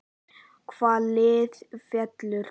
Hvaða lið fellur???